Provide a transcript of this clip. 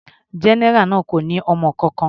General náà kò ní ọmọ kankan.